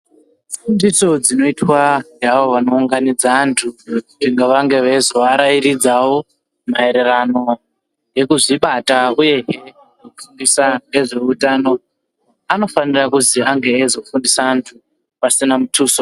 Fundiso dzinoitwa ngeavo vanounganidza anthu ,kuti vange veizovarairidzawo ,maererano nekuzvibata, uye kudzidzisa ngezve utano ,anofanira kuzi ange eizofundisa anthu pasina muthuso.